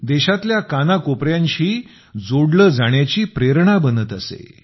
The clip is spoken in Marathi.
देशातल्या कानाकोपऱ्यांशी जोडले जाण्याची प्रेरणा बनत असे